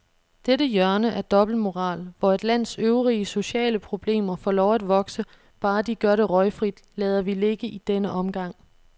Dette hjørne af dobbeltmoral, hvor et lands øvrige sociale problemer får lov at vokse, bare de gør det røgfrit, lader vi ligge i denne omgang.